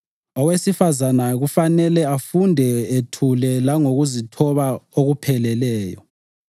Owesifazane kumele afunde ethule langokuzithoba okupheleleyo.